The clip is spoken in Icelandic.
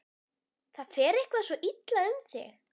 Það fer eitthvað svo illa um þig.